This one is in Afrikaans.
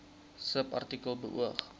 subartikel beoog